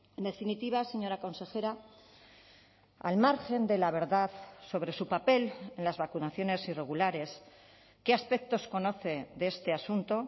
en definitiva señora consejera al margen de la verdad sobre su papel en las vacunaciones irregulares qué aspectos conoce de este asunto